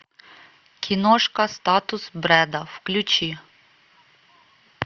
киношка статус брэда включи